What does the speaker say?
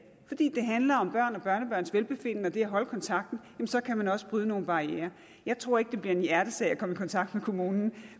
handler om børn og børnebørns velbefindende og det at holde kontakten så kan man også bryde nogle barrierer jeg tror ikke det bliver en hjertesag at komme i kontakt med kommunen